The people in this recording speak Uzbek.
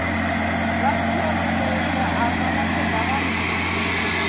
Rossiya rubli esa arzonlashda davom etmoqda.